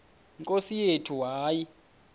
nkosi yethu hayi